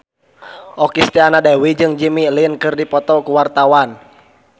Okky Setiana Dewi jeung Jimmy Lin keur dipoto ku wartawan